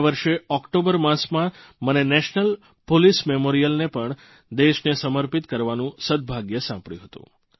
ગયા વર્ષે ઓકટોબર માસમાં મને નેશનલ પોલીસ મેમોરીયલને પણ દેશને સમર્પિત કરવાનું સદભાગ્ય સાંપડ્યું હતું